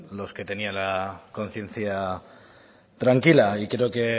los que tenían la conciencia tranquila y creo que